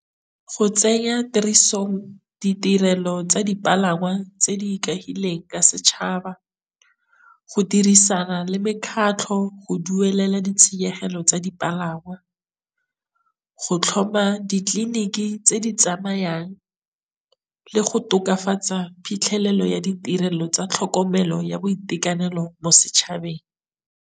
Go tsenya tirisong ditirelo tsa dipalangwa tse di ikahileng ka setšhaba, go dirisana le mekgatlho go duelela ditshenyegelo tsa dipalangwa, go tlhoma ditleliniki tse di tsamayang le go tokafatsa phitlhelelo ya ditirelo tsa tlhokomelo ya boitekanelo mo setšhabeng.